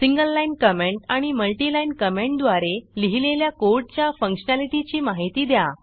single line comment आणि multi line कॉमेंटद्वारे लिहीलेल्या कोडच्या फंक्शनॅलिटीची माहिती द्या